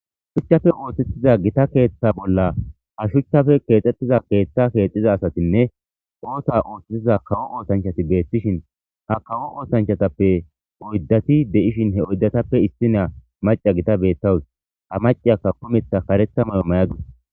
Shuchchafe ooththetiza gita keeththa bolla ha shuchchafe keexxettiza keeththa keexxiza asatinne oota ooththetiza kawo ootanchati beeththishin ha kawo ootanchatappe oyddati de7ishin he oydatappe issi naa maca gita beettawus ha maciyaka kometha karetha may7o may7adis.